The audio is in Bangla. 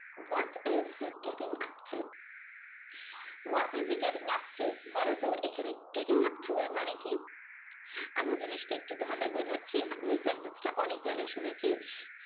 What is he getting upto? What is he getting upto? বলে তো? এখানে getting upto এর মানে কি? আমি জিনিসটা একটু তোমাদের বোঝাচ্ছি, আমি এই sentence টা অনেক জায়গায় শুনেছি